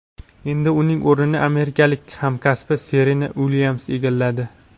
Endi uning o‘rnini amerikalik hamkasbi Serena Uilyams egalladi.